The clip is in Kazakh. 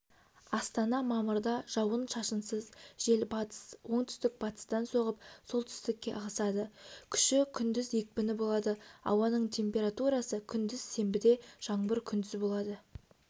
астана мамырда жауын-шашынсыз жел батыс оңтүстік-батыстан соғып солтүстікке ығысады күші күндіз екпіні юболады ауаныңтемпературасы күндіз сенбіде жаңбыр күндіз болады